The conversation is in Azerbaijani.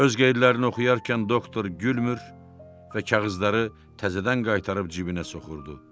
Öz qeydlərini oxuyarkən doktor gülmür və kağızları təzədən qaytarıb cibinə soxurdu.